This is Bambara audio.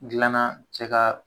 Dilanna cɛ ka